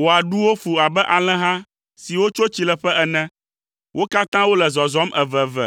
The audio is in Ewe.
Wò aɖuwo fu abe alẽha siwo tso tsileƒe ene. Wo katã wole zɔzɔm eveve,